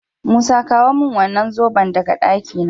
Musa kawo min wannan zoben daga ɗakina